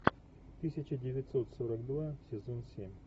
тысяча девятьсот сорок два сезон семь